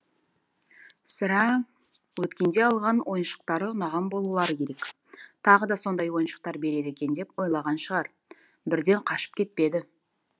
сірә өткенде алған ойыншықтары ұнаған болулары керек тағы да сондай ойыншықтар береді екен деп ойлаған шығар бірден қашып кетпеді